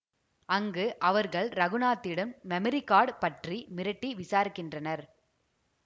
அங்கு அவர்கள் இரகுநாத்திடம் மெமரி கார்டு பற்றி மிரட்டி விசாரிக்கின்றனர்